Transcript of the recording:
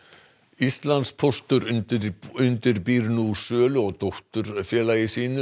Íslandspóstur undirbýr undirbýr nú sölu á dótturfélagi sínu